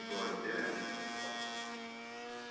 его растерянность прошла